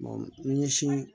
ni ɲɛsin